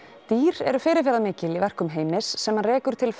dýr eru fyrirferðarmikil í verkum Heimis sem hann rekur til